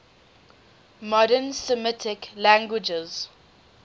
modern semitic languages